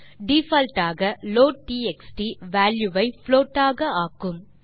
default ஆக லோட்ட்எக்ஸ்ட் value ஐ புளோட் ஆக ஆக்கும்